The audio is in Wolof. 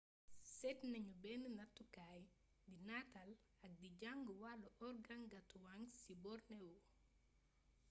séét nañu benn nattukaay di nataal ak di jàng wàllu organgatuangs ci borneo